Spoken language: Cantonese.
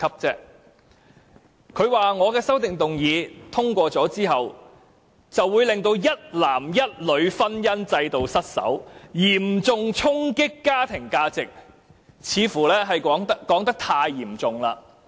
他說我的修正案若獲得通過，會令一男一女的婚姻制度失守，嚴重衝擊家庭價值，似乎說得太嚴重了。